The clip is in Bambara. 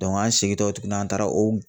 an segintɔ tuguni an taara o